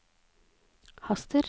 haster